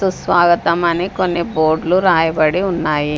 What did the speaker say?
సుస్వాగతం అన్ని కొన్ని బోర్డ్లు రాయబడి ఉన్నాయి.